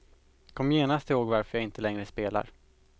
Kom genast ihåg varför jag inte längre spelar.